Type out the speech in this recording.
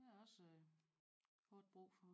Der er også hårdt brug for